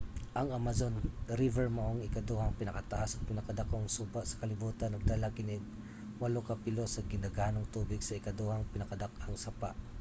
ang amazon river mao ang ikaduhang pinakataas ug pinakadakong suba sa kalibutan. nagdala kini og 8 ka pilo sa gidaghanong tubig sa ikaduhang pinakadakong sapa